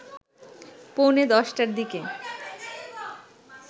পৌনে ১০টার দিকে